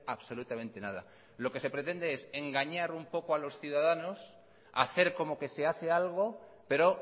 absolutamente nada lo que se pretende es engañar un poco a los ciudadanos hacer como que se hace algo pero